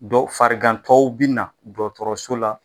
Dɔw farigantɔw bi na dɔgɔtɔrɔso la